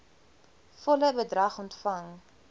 volle bedrag ontvang